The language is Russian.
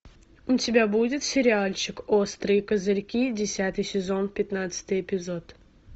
у тебя будет сериальчик острые козырьки десятый сезон пятнадцатый эпизод